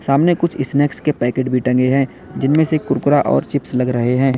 सामने कुछ स्नैक्स के पैकेट भी टंगे हैं जिनमें से कुरकुरा और चिप्स लग रहे हैं।